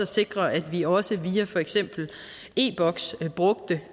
sikre at vi også via for eksempel e box brugte